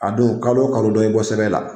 A dun kalo wo kalo dɔ ye bɔ sɛbɛn la.